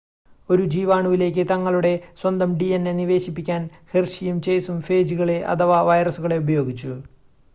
ഒരു ജീവാണുവിലേക്ക് തങ്ങളുടെ സ്വന്തം dna നിവേശിപ്പിക്കാൻ ഹെർഷിയും ചേസും ഫേജുകളെ അഥവാ വൈറസുകളെ ഉപയോഗിച്ചു